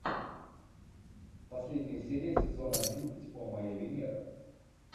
последняя серия сезона одиннадцать о моя венера